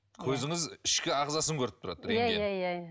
көзіңіз ішкі ағзасын көріп тұрады иә иә иә